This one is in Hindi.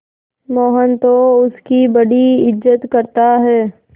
मोहन तो उसकी बड़ी इज्जत करता है